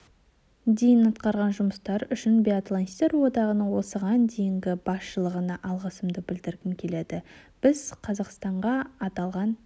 дейін атқарған жұмыстары үшін биатлонистер одағының осыған дейінгі басшылығына алғысымды білдіргім келеді біз қазақстанға аталған